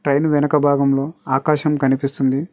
Train వెనక భాగంలో ఆకాశం కనిపిస్తుంది.